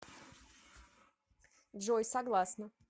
джой согласна